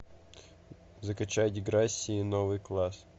закачай деграсси новый класс